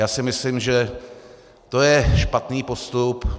Já si myslím, že to je špatný postup.